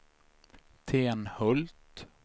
Tenhult